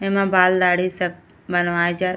एमा बाल दाढ़ी सब बनवाए जात --